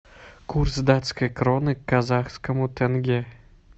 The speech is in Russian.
курс датской кроны к казахскому тенге